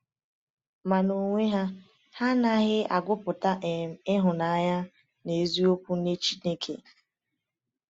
Ma n’onwe ha, ha anaghị agụpụta um ịhụnanya n’eziokwu nye Chineke.